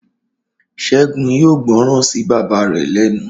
Ṣẹ́gun yóò gbọ́ràn sí bàbá rẹ̀ lẹ́nu